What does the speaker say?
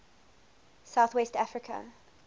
south west africa